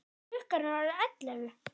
Klukkan er orðin ellefu!